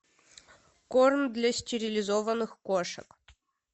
корм для стерилизованных кошек